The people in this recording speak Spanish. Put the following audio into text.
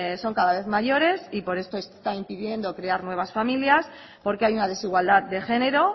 son cada vez mayores y por esto están pidiendo crear nuevas familias porque hay una desigualdad de género